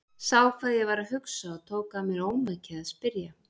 Sá hvað ég var að hugsa og tók af mér ómakið að spyrja.